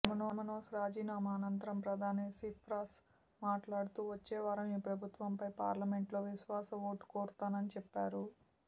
Kammenos రాజీనామా అనంతరం ప్రధాని సిప్రాస్ మాట్లాడుతూ వచ్చేవారం ఈ ప్రభుత్వంపై పార్లమెంట్లో విశ్వాస ఓటు కోరతానని చెప్పారు